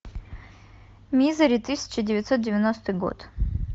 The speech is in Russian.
мизери тысяча девятьсот девяностый год